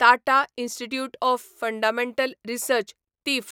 Tata institute of fundamental research तिफ्र